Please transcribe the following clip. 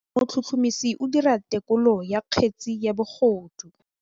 Motlhotlhomisi o dira têkolô ya kgetse ya bogodu.